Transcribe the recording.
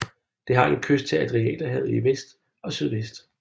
Det har en kyst til Adriaterhavet i vest og sydvest